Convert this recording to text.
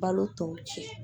Balo tɔw cɛ